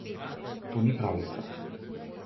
To ni pravljica.